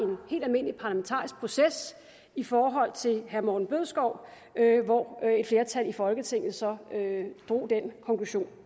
helt almindelig parlamentarisk proces i forhold til herre morten bødskov hvor et flertal i folketinget så drog den konklusion